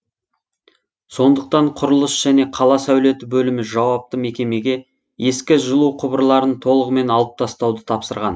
сондықтан құрылыс және қала сәулеті бөлімі жауапты мекемеге ескі жылу құбырларын толығымен алып тастауды тапсырған